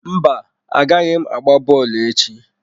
Mba, agaghị m agba bọọlụ echi.